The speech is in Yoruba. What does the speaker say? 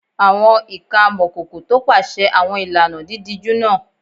Àwọn ìka amọ̀kòkò tọpasẹ̀ àwọn ìlànà dídíjú náà